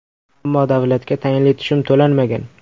Ammo davlatga tayinli tushum to‘lanmagan.